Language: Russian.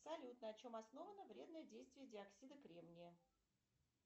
салют на чем основано вредное действие диоксида кремния